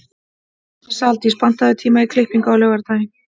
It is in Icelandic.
Saldís, pantaðu tíma í klippingu á laugardaginn.